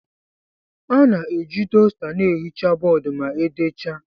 A na-eji dosta na-ehicha bọọdụ ma e decha.